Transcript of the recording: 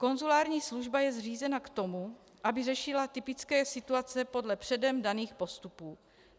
Konzulární služba je zřízena k tomu, aby řešila typické situace podle předem daných postupů.